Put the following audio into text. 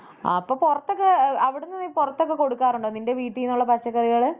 അപ്പം പൊറത്തോക്കെ ആഹ് അവിടുന്ന് നീ പൊറത്തൊക്കെ കൊടുക്കാറുണ്ടോ നിൻറെ വീട്ടിൽ നിന്നുള്ള പച്ചക്കറികളൊക്കെ?